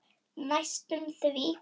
Næstum því.